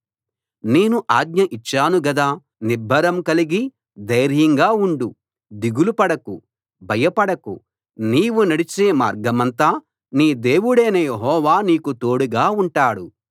నేను ఆజ్ఞ ఇచ్చాను గదా నిబ్బరం కలిగి ధైర్యంగా ఉండు దిగులు పడకు భయపడకు నీవు నడిచే మార్గమంతా నీ దేవుడైన యెహోవా నీకు తోడుగా ఉంటాడు